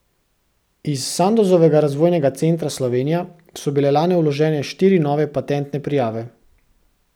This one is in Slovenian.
Iz Sandozovega razvojnega centra Slovenija so bile lani vložene štiri nove patentne prijave.